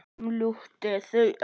Umlukti þau öll.